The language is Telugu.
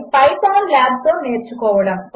Ipythonనుpylabతోనేర్చుకోవడము